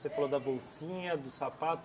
Você falou da bolsinha, do sapato.